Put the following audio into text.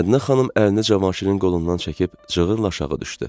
Mədinə xanım əlini Cavanşirin qolundan çəkib cığırla aşağı düşdü.